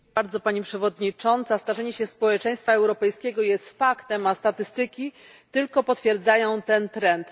Dziękuję bardzo, Pani Przewodnicząca. Starzenie się społeczeństwa europejskiego jest faktem, a statystyki tylko potwierdzają ten trend.